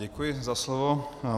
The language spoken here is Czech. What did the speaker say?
Děkuji za slovo.